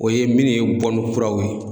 O ye minnu ye bɔnni kuraw ye.